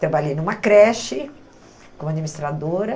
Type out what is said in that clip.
Trabalhei numa creche, como administradora.